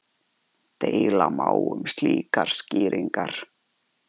Deila má um slíkar skýringar.